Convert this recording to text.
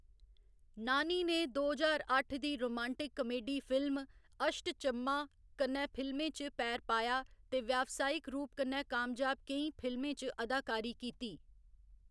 नानी ने दो ज्हार अट्ठ दी romantic comedy film Ashta Chamma कन्नै फिल्में च पैर पाया ते व्यावसायिक रूप कन्नै कामयाब केईं फिल्में च अदाकारी कीती।